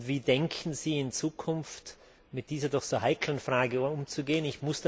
Wie denken Sie in Zukunft mit dieser doch so heiklen Frage umzugehen?